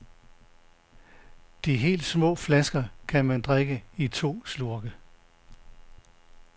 De helt små flasker kan man drikke i to slurke.